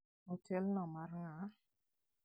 Otelno mar ng'a?